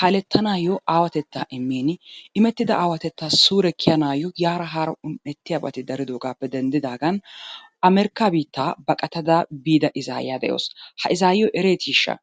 kaalettanaayo awaatettaa immin imettida aawatettaa suure kiyanaayo yaara haara un"ettiyabati daridogaappe denddidaagan amerikaa biittaa baqatada biida izaayiya de"awusu. Ha izaayiyo ereetiishsha?